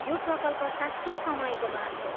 यो प्रकल्प साँच्चै समयको माग हो।